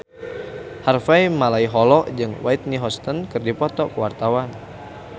Harvey Malaiholo jeung Whitney Houston keur dipoto ku wartawan